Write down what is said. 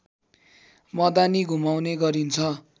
मदानी घुमाउने गरिन्छ